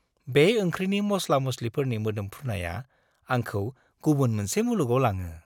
बे ओंख्रिनि मस्ला-मस्लिफोरनि मोदोमफ्रुनाया आंखौ गुबुन मोनसे मुलुगाव लाङो।